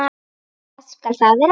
Hvað skal það vera?